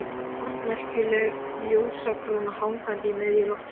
Forneskjuleg ljósakróna hangandi í miðju loftinu.